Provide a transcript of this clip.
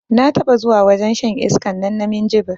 Na taɓa zuwa wajen shan iskan nan na minjibir